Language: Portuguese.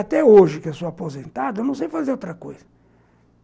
que sou aposentado, não sei fazer outra coisa.